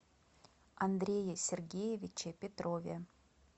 андрее сергеевиче петрове